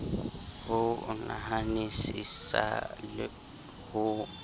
ho o nahanisisa ho o